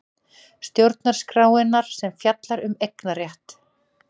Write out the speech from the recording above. Stjórnarskrárinnar sem fjallar um eignarétt.